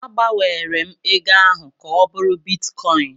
A gbanwere m ego ahụ ka ọ bụrụ bitkọin.